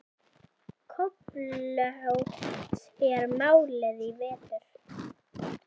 Köflótt er málið í vetur.